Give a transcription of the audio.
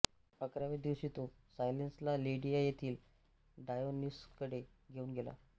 अकराव्या दिवशी तो सायलेनसला लिडिया येथील डायोनिससकडे घेऊन गेला